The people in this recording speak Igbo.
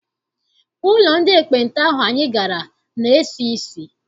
Ụlọ ndị ekpenta ahụ anyị gara na-esi isi.